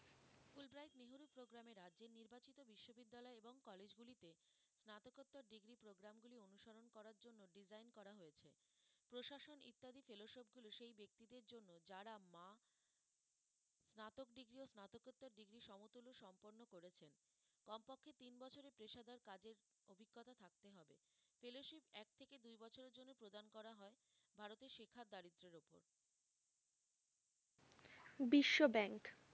Biswa bank,